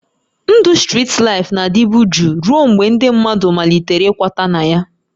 Ndụ strit laịfụ na-adịbu jụụ ruo mgbe ndị mmadụ malitere ịkwata na ya